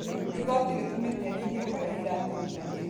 Igoti rĩtũmĩte anyihie kũrehe iratũ nyingi.